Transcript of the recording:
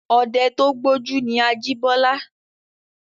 Ọdẹ tó gbójú ni Ajíbọ́lá.